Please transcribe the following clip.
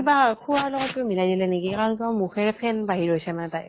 কিবা । খোৱা লগত কিবা মিলাই দিলে নেকি ? আৰু মানে মুখেৰে ফেন বাহিৰ হৈছে মানে তাইৰ